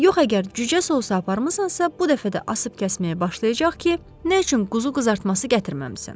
Yox əgər cücə sousu aparmısansa, bu dəfə də asıb-kəsməyə başlayacaq ki, nə üçün quzu qızartması gətirməmisən?